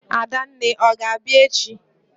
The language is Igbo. Adanne, ọ ga-abịa echi?